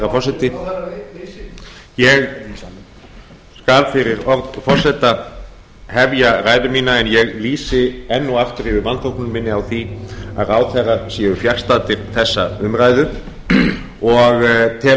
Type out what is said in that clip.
forseti ég skal fyrir orð forseta hefja ræðu mína en ég lýsi enn og aftur yfir vanþóknun minni á því að ráðherrar séu fjarstaddir þessa umræðu og tel